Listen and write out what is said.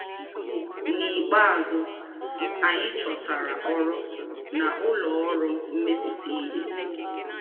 N'ikpeazụ, anyị chọtara ọrụ na ụlọ ọrụ mmepụta ihe.